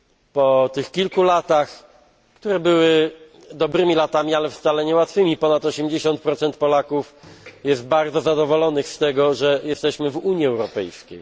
Po tych kilku latach, które były dobrymi, ale wcale nie łatwymi latami, ponad 80 Polaków jest bardzo zadowolonych z tego, że jesteśmy w Unii Europejskiej.